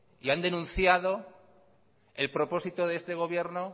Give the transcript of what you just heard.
y han denunciado el propósito de este gobierno